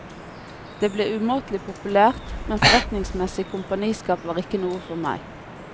Det ble umåtelig populært, men forretningsmessig kompaniskap var ikke noe for meg.